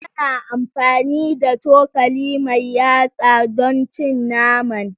Tana amfani da cokali mai yatsa don cin naman.